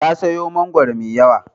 Ta sayo mangwaro mai yawa.